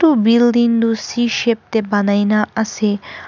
Ooh building tuh c shape dae banaina ase.